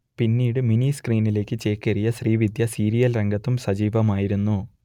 പിന്നീട് മിനി സ്ക്രീനിലേക്ക് ചേക്കേറിയ ശ്രീവിദ്യ സീരിയൽ രംഗത്തും സജീവമായിരുന്നു